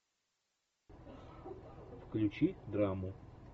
включи драму